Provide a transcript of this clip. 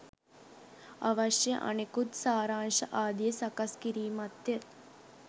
අවශ්‍ය අනෙකුත් සාරාංශ ආදිය සකස් කිරීමත්ය